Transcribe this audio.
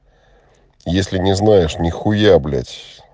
если не знаешь нехуя блять